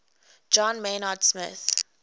john maynard smith